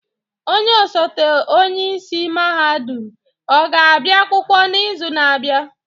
Onye ọsote onye isi mahadum ọ ga-abịa akwụkwọ n'izu na-abịa?